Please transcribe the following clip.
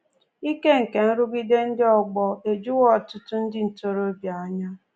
Ike nke nrụgide ndị ọgbọ ejuwo ọtụtụ ndị ntorobịa anya